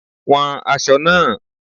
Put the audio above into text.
Wọn aṣọ náà.